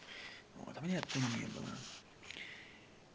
вот а меня там не было